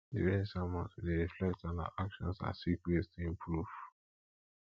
during sermons we dey reflect on our actions and seek ways to improve